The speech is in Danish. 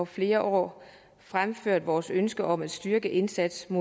flere år fremført vores ønske om at styrke indsatsen